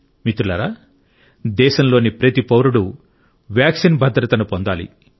మిత్రులారా దేశంలోని ప్రతి పౌరుడు వ్యాక్సిన్ భద్రతను పొందాలి